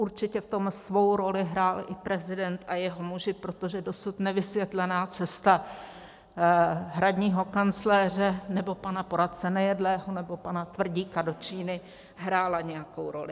Určitě v tom svou roli hrál i prezident a jeho muži, protože dosud nevysvětlená cesta hradního kancléře nebo pana poradce Nejedlého nebo pana Tvrdíka do Číny hrála nějakou roli.